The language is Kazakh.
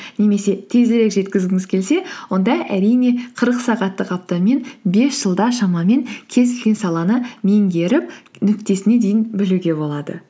немесе тезірек жеткізгіңіз келсе онда әрине қырық сағаттық аптамен бес жылда шамамен кез келген саланы меңгеріп нүктесіне дейін білуге болады